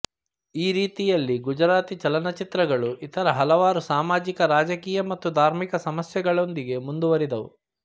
ಈ ರೀತಿಯಲ್ಲಿ ಗುಜರಾತಿ ಚಲನಚಿತ್ರಗಳು ಇತರ ಹಲವಾರು ಸಾಮಾಜಿಕ ರಾಜಕೀಯ ಮತ್ತು ಧಾರ್ಮಿಕ ಸಮಸ್ಯೆಗಳೊಂದಿಗೆ ಮುಂದುವರಿದವು